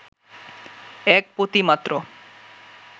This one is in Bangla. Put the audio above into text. এক পতি মাত্র